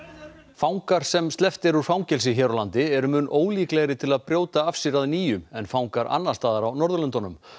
fangar sem sleppt er úr fangelsi hér á landi eru mun ólíklegri til að brjóta af sér að nýju en fangar annars staðar á Norðurlöndunum